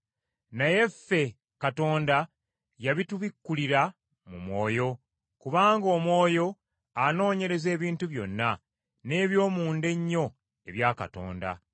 Naye ffe Katonda yabitubikkulira mu Mwoyo, kubanga Omwoyo anoonyereza ebintu byonna, n’eby’omunda ennyo ebya Katonda.